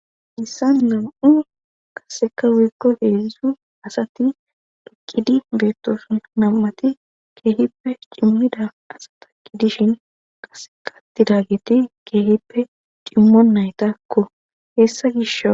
Hessan nam'u qaseka wuykko heedzu asati dhukkidi beettosun nam7ati keehippe cimmida asa taki dishin qase qatida geti keehippe cimmo naytakko hessa gisho.